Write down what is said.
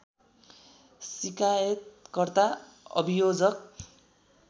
सिकायतकर्ता अभियोजक